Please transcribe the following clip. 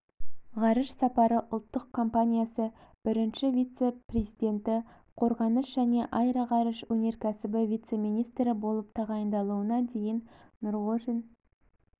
ғарыш сапары ұлттық компаниясы бірінші вице-президенті қорғаныс және аэроғарыш өнеркәсібі вице-министрі болып тағайындалуына дейін нұрғожин